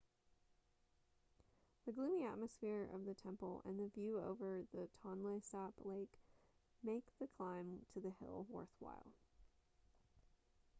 the gloomy atmosphere of the temple and the view over the tonle sap lake make the climb to the hill worthwhile